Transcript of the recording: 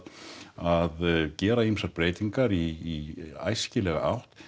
að gera ýmsar breytingar í æskilega átt